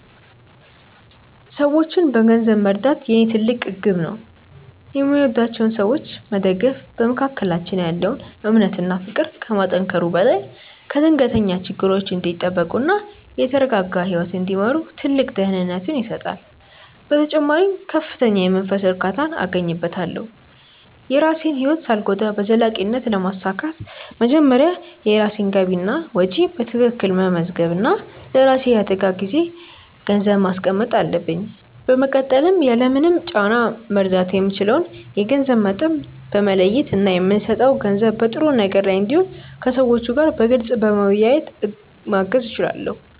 ሰዎችን በገንዘብ መርዳት የኔ ትልቅ ግብ ነው። የሚወዷቸውን ሰዎች መደገፍ በመካከላችን ያለውን እምነት እና ፍቅር ከማጠናከሩ በላይ ከድንገተኛ ችግሮች እንዲጠበቁ እና የተረጋጋ ህይወት እንዲመሩ ትልቅ ደህንነትን ይሰጣል። በተጨማሪም ከፍተኛ የመንፈስ እርካታን አገኝበታለሁ። የራሴን ህይወት ሳልጎዳ በዘላቂነት ለማሳካት መጀመሪያ የራሴን ገቢና ወጪ በትክክል መመዝገብ እና ለራሴ የአደጋ ጊዜ ገንዘብ ማስቀመጥ አለብኝ። በመቀጠልም ያለምንም ጫና መርዳት የምችለውን የገንዘብ መጠን በመለየት እና የምሰጠው ገንዘብ በጥሩ ነገር ላይ እንዲውል ከሰዎቹ ጋር በግልፅ በመወያየት ማገዝ እችላለሁ።